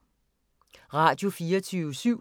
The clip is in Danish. Radio24syv